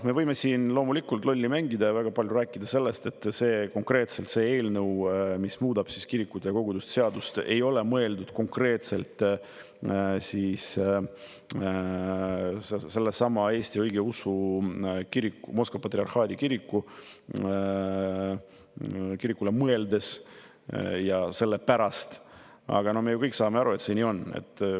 Me võime siin loomulikult lolli mängida ja väga palju rääkida sellest, et see eelnõu, mis muudab kirikute ja koguduste seadust, ei ole konkreetselt sellelesamale Moskva Patriarhaadi Eesti Õigeusu Kirikule mõeldes ja selle pärast, aga me ju kõik saame aru, et see nii on.